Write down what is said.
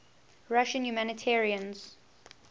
russian humanitarians